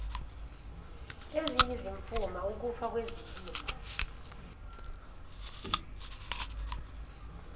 eziyizimfuma ukufa kwezilimo